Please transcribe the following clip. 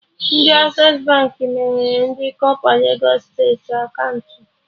Ndị Access Baankị meghere ndị kọpa legos steeti akaụntụ